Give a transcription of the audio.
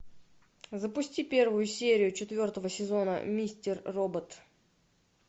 запусти первую серию четвертого сезона мистер робот